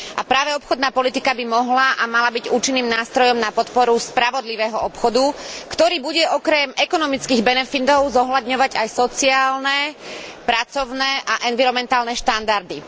A práve obchodná politika by mohla a mala byť účinným nástrojom na podporu spravodlivého obchodu, ktorý bude okrem ekonomických benefitov zohľadňovať aj sociálne, pracovné a environmentálne štandardy.